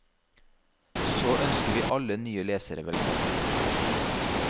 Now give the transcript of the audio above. Så ønsker vil alle nye lesere velkommen.